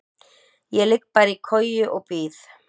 Ég ligg bara í koju og bíð.